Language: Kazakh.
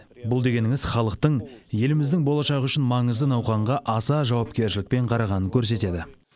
бұл дегеніңіз халықтың еліміздің болашағы үшін маңызды науқанға аса жауапкершілікпен қарағанын көрсетеді